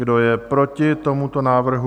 Kdo je proti tomuto návrhu?